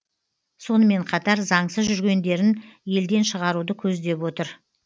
сонымен қатар заңсыз жүргендерін елден шығаруды көздеп отыр